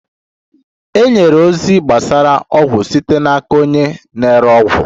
E nyere ozi gbasara ọgwụ site n'aka onye na-ere ọgwụ.